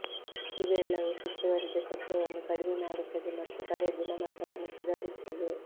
ಇವೆಲ್ಲವೂ ಸುತ್ತುವರಿದ ಶಬ್ದವನ್ನು ಕಡಿಮೆ ಮಾಡುತ್ತದೆ ಮತ್ತು ಕರೆ ಗುಣಮಟ್ಟವನ್ನು ಸುಧಾರಿಸುತ್ತದೆ